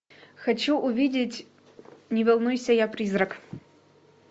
хочу увидеть не волнуйся я призрак